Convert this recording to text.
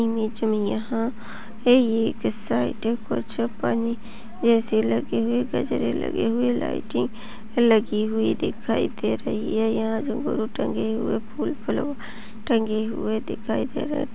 ये जो यहाँ पे ये एक साइड कुछ पन्नी जेसे लगे गजरे लगे हुए लाइटिंग लगी हुई दिखाई दे रही है यहाँ टंगे हुए फूल फुलंग टंगे हुए दिखाई दे रहै--